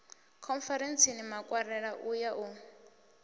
khonferentsini makwarela u ya u